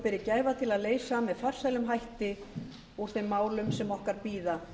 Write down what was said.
berum gæfu til að leysa með farsælum hætti úr þeim málum sem okkar bíða